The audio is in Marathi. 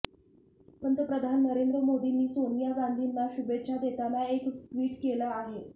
पंतप्रधान नरेंद्र मोदींनी सोनिया गांधीना शुभेच्छा देताना एक ट्वीट केलं आहे